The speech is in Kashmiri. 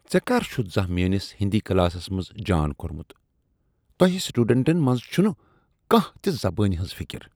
ژےٚ کر چھُتھ زانہہ میٲنِس ہِندی كلاسس منز جان كوٚرمُت؟ تۄہہ سٹوڈنٹن منز چھنہٕ كانٛہہ تہِ زبٲنۍ ہنز فکر۔